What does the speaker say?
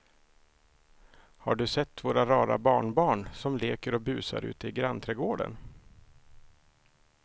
Har du sett våra rara barnbarn som leker och busar ute i grannträdgården!